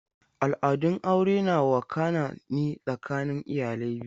Al'adun aure na wakana ne tsakanin iyalai biyu.